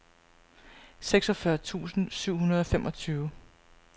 seksogfyrre tusind syv hundrede og femogtyve